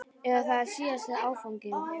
Eða er þetta síðasti áfanginn?